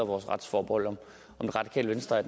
vores retsforbehold er det radikale venstre